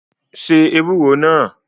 Se ewúro náà!